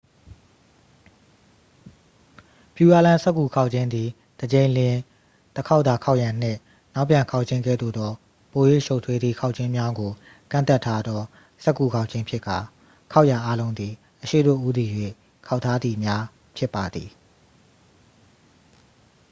pureland စက္ကူခေါက်ခြင်းသည် တစ်ကြိမ်လျှင် တစ်ခေါက်သာခေါက်ရန်နှင့် နောက်ပြန်ခေါက်ခြင်းကဲ့သို့သော ပို၍ရှုပ်ထွေးသည့်ခေါက်ခြင်းများကို ကန့်သတ်ထားသော စက္ကူခေါက်ခြင်းဖြစ်ကာ ခေါက်ရာအားလုံးသည် အရှေ့သို့ဦးတည်၍ခေါက်ထားသည်များဖြစ်ပါသည်